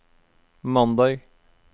mandag